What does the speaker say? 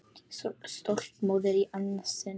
Stolt móðir í annað sinn.